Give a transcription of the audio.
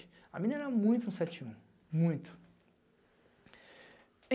A mina era muito um um sete um, muito.